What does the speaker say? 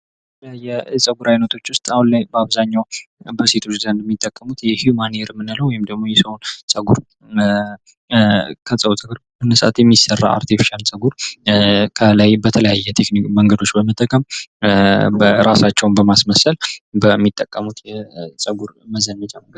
የፀጉር አይነቶች ዉስጥ አሁን ላይ በአብዛኛዉ በሴቶች የሚጠቀሙት ሂዉማን ሄር የምንለዉ ወይም ደግሞ የሰዉን ፀጉር የሚሰራ አርቴፍሻል ፀጉር ከላይ በተለያየ መንገዶች በመጠቀም የራሳቸዉ በማስመሰል በሚጠቀሙት ፀጉር መዘነጫ መንገድ ነዉ።